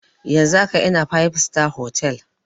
Yanzun haka ina fib sitar hotal